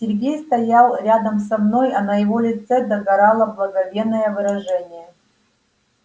сергей стоял рядом со мной а на его лице догорало благоговейное выражение